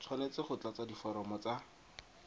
tshwanetse go tlatsa diforomo tsa